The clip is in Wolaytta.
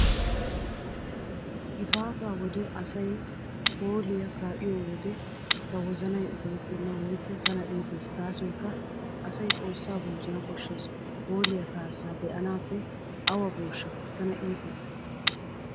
Gifaataa wode asay hooliyaa kaa'iyo wode ta wozanay ufayttenna woykko tana iitees gaasoykka asay xoossaa bonchchana koshshees. Hoolliyaa kaassaa be'anaappe awa booshsha! Tana iitees.